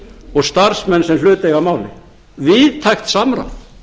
og starfsmenn sem hlut eiga að máli víðtækt samráð